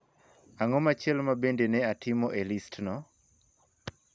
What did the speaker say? Ang'o machielo ma bende ne atimo e listno?